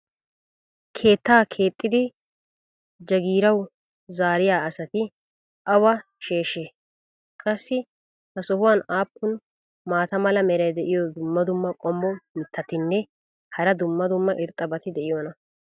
keettaa keexxidi jagiirawu zaariya asati awa sheeshshee? qassi ha sohuwan aappun maata mala meray diyo dumma dumma qommo mitattinne hara dumma dumma irxxabati de'iyoonaa?